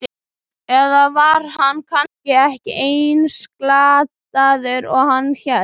Eða var hann kannski ekki eins glataður og hann hélt?